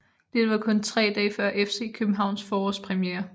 Dette var kun tre dage før FC Københavns forårspremiere